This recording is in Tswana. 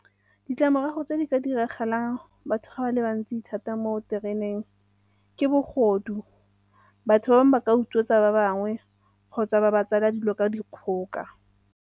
Ditlamorago tse di ka diragalang batho ga ba le bantsi thata mo tereneng ke bogodu, batho ba bangwe ba ka utswetsa ba bangwe kgotsa ba ba tseela dilo ka dikgoka.